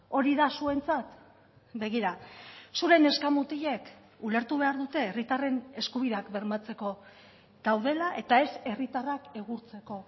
hori da zuentzat begira zure neska mutilek ulertu behar dute herritarren eskubideak bermatzeko daudela eta ez herritarrak egurtzeko